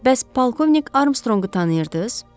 Bəs polkovnik Armstronqu tanıyırdız?